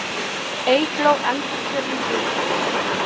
Eygló endurkjörin ritari